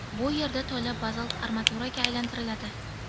Bu yerda tola bazalt armaturaga aylantiriladi.